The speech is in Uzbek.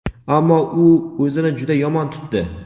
Ammo u o‘zini juda yomon tutdi.